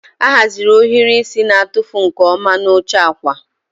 A haziri ohiri isi na-atụfu nke ọma n'oche akwa.